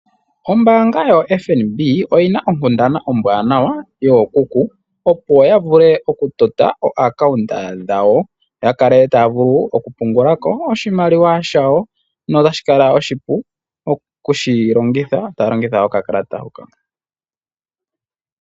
Ombaanga yo FNB oyina onkundana ombwanawa yookuku opo ya vule okutota oompungulilo dhawo, ya kale taya vulu okupungula ko oshimaliwa shawo notashi kala oshipu okushi longitha, taya longitha okakalata hoka.